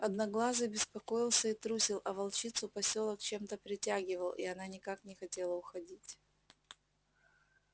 одноглазый беспокоился и трусил а волчицу посёлок чем-то притягивал и она никак не хотела уходить